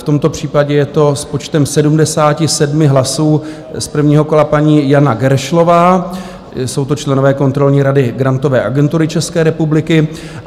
V tomto případě je to s počtem 77 hlasů z prvního kola paní Jana Geršlová, jsou to členové kontrolní rady Grantové agentury České republiky.